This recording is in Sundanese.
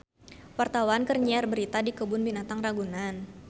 Wartawan keur nyiar berita di Kebun Binatang Ragunan